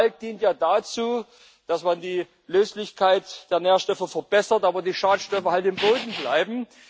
Kalk dient ja dazu, dass man die Löslichkeit der Nährstoffe verbessert, aber die Schadstoffe im Boden bleiben.